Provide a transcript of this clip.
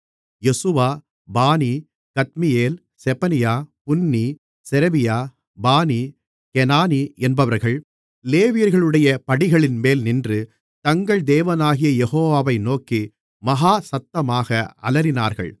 யெசுவா பானி கத்மியேல் செபனியா புன்னி செரெபியா பானி கெனானி என்பவர்கள் லேவியர்களுடைய படிகளின்மேல் நின்று தங்கள் தேவனாகிய யெகோவாவை நோக்கி மகா சத்தமாக அலறினார்கள்